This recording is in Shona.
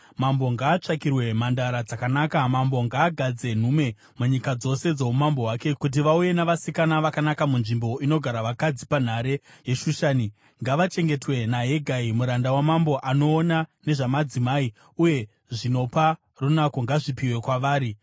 “Mambo ngaatsvakirwe mhandara dzakanaka. Mambo ngaagadze nhume munyika dzose dzoumambo hwake kuti vauye navasikana vakanaka munzvimbo inogara vakadzi panhare yeShushani. Ngavachengetwe naHegai, muranda wamambo anoona nezvamadzimai, uye zvinopa runako ngazvipiwe kwavari.